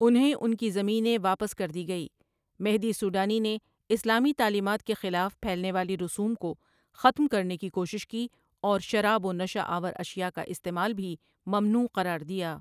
انہیں ان کی زمینیں واپس کردی گئی مہدی سوڈانی نے اسلامی تعلیمات کے خلاف پھیلنے والی رسوم کو ختم کرنے کی کوشش کی اور شراب و نشہ آور اشیاء کا استعمال بھی ممنوع قرار دیا ۔